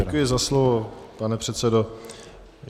Děkuji za slovo, pane předsedo.